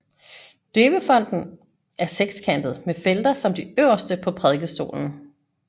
Døbefonten er sekskantet med felter som de øverste på prædikestolen